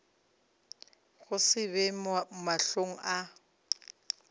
go se be mahlong a